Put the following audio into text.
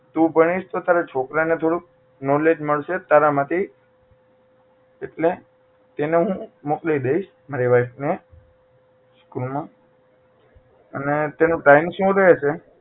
તું ભણીશ તો તારા છોકરા ને થોડુંક knowledge મળશે તારા માંથી એટલે એને હું મોકલી દઈશ તારા વાઇફ ને સ્કૂલ માં અને તેનું time શું રહશે